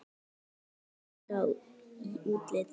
Þeir eru líkir í útliti.